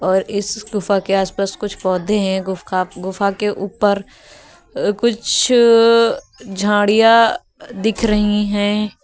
और इस गुफा के आस पास कुछ पौधे हैं गुफा के ऊपर कुछ झाड़ियां दिख रही है।